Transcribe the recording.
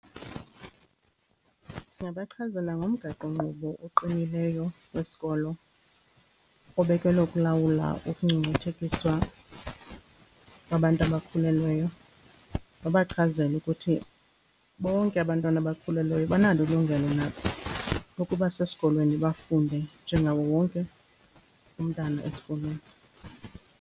Ndingabachazela ngomgaqonkqubo oqinileyo wesikolo obekelwe ukulawula ukungcungcuthekiswa kwabantu abakhulelweyo nobachazela ukuthi bonke abantwana abakhulelweyo banalo ilungelo nabo lokuba sesikolweni, bafunde njengawo wonke umntana esikolweni.